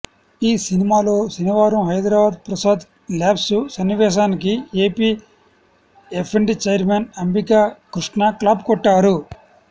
ఈ సినిమాలో శనివారం హైదరాబాద్ ప్రసాద్ ల్యాబ్స్ సన్నివేశానికి AP FDC chairman Ambika Krishna clap కొట్టారు